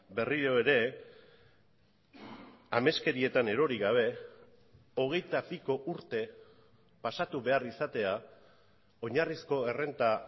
berriro ere ameskerietan erori gabe hogeita piko urte pasatu behar izatea oinarrizko errenta